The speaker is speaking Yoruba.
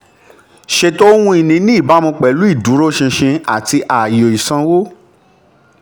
ṣètò ohun ìní ní ìbámu pẹ̀lú ìdúróṣinṣin àti ààyò ìsanwó.